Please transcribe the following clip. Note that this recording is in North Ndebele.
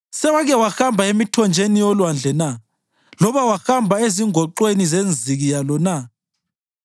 Sewake wahamba emithonjeni yolwandle na loba wahamba ezingoxweni zenziki yalo na?